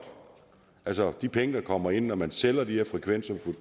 altså de penge der kommer ind når man sælger de her frekvenser